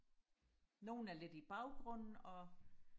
nogen er lidt i baggrunden og